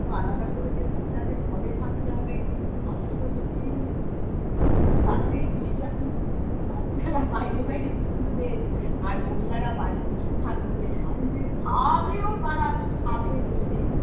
তো আলাদা করে যে মহিলাদের ঘরে থাকতে হবে আপনি তো দেখছি তাতেই বিশ্বাসী আপনারা বাইরে বাইরে ঘুরবেন আর মহিলারা বাড়ি বসে থাকবে স্বামীদের খাওয়াবেও তারা সামনে বসে